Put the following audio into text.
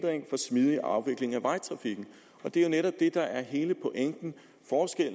smidig afvikling af vejtrafikken det er jo netop det der er hele pointen